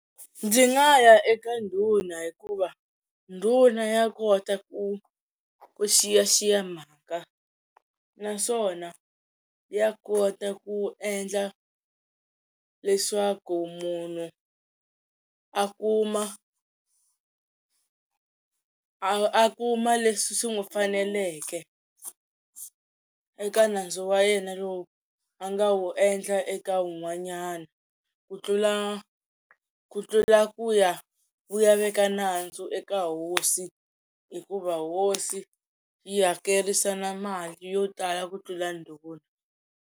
Ndzi nga ya eka ndhuna hikuva ndhuna ya kota ku ku xiyaxiya mhaka naswona ya kota ku endla leswaku munhu a kuma a kuma leswi swi n'wi faneleke eka nandzu wa yena lowu a nga wu endla eka un'wanyana ku tlula ku tlula ku ya u ya veka nandzu eka hosi hikuva hosi yi hakerisa na mali yo tala ku tlula ndhuna.